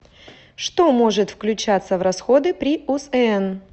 что может включаться в расходы при усн